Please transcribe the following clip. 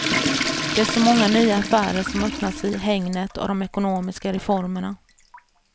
Det är så många nya affärer som öppnas i hägnet av de ekonomiska reformerna.